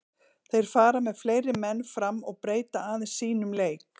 Þeir fara með fleiri menn fram og breyta aðeins sínum leik.